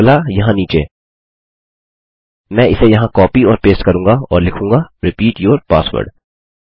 और अगला यहाँ नीचेमैं इसे यहाँ कॉपी और पेस्ट करूँगा और लिखूँगा रिपीट यूर पासवर्ड